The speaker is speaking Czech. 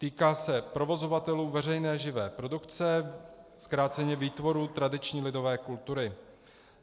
Týká se provozovatelů veřejné živé produkce, zkráceně výtvorů tradiční lidové kultury.